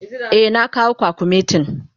Eh, na kawo kwakumetin.